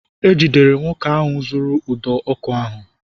E jidere nwoke ahụ zuuru ụdọ ọkụ ahụ